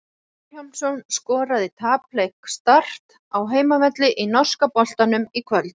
Matthías Vilhjálmsson skoraði í tapleik Start á heimavelli í norska boltanum í kvöld.